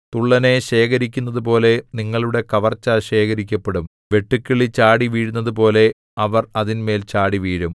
തുള്ളനെ ശേഖരിക്കുന്നതുപോലെ നിങ്ങളുടെ കവർച്ച ശേഖരിക്കപ്പെടും വെട്ടുക്കിളി ചാടി വീഴുന്നതുപോലെ അവർ അതിന്മേൽ ചാടിവീഴും